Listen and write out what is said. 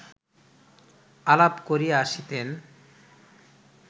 আলাপ করিয়া আসিতেন